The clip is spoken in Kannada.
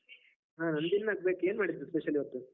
ಹಾ ನಂದು ಇನ್ನು ಆಗ್ಬೇಕು, ಏನ್ ಮಾಡಿದ್ರು spacial ಇವತ್ತು?